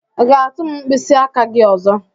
i ga-atu m mkpịsị aka gị ọzọ?